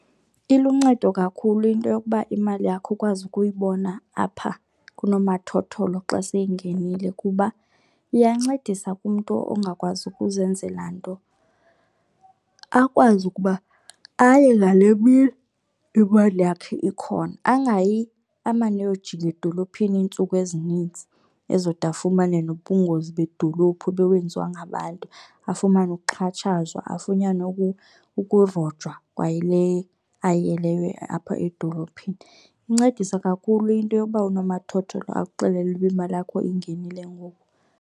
Iluncedo kakhulu into yokuba imali yakho ukwazi ukuyibona apha kunomathotholo xa seyingenile kuba iyancedisa kumntu ongakwazi ukuzenzela nto. Akwazi ukuba aye ngale mini imali yakhe ikhona angayi amane eyojika edolophini iintsuku ezininzi ezode afumane nobungozi bedolophu bewenziwa ngabantu, afumane ukuxhatshazwa, afunyanwe ukurojwa kwayile ayiyeleyo apha edolophini. Kuncedisa kakhulu into yoba unomathotholo akuxelele uba imali yakho ingenile ngoku.